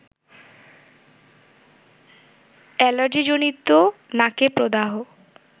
এলার্জিজনিত নাকে প্রদাহ